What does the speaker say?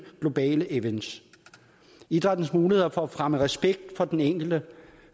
globale events idrættens muligheder for at fremme respekt for den enkelte